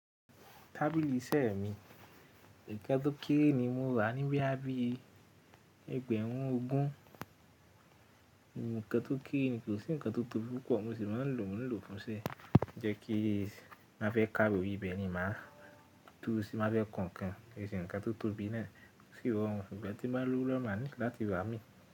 Tábìlì iṣẹ́ mi, ǹkan tó kéré ni mo rà níboya bí ẹgbẹ̀rún ogún. Ǹkan tó kéré ni kò sí ǹkan tó tóbi púpọ̀ mo sì máa ń lò fún iṣẹ́ ni má fẹ́ ka ìròyìn ibẹ̀ ni màá dúró, tí mo bá fẹ́ kọ ǹkan, kò ń ṣe ǹkan tó tóbi náà kò sí ohun ìgbẹ́ tí mo bá lówó lọ́wọ́ máa ní láti rà imi.